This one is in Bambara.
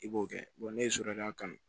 I b'o kɛ ne ye so de y'a kan